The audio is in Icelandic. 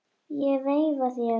Ég veifa þér.